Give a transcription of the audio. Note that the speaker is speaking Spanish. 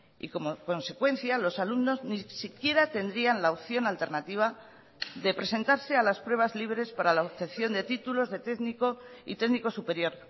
y como consecuencia los alumnos ni siquiera tendrían la opción alternativa de presentarse a las pruebas libres para la obtención de títulos de técnico y técnico superior